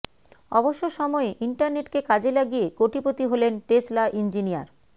অবসর সময়ে ইন্টারনেটকে কাজে লাগিয়ে কোটিপতি হলেন টেসলা ইঞ্জিনিয়ার